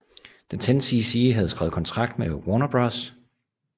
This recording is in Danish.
Da 10cc havde skrevet kontrakt med Warner Bros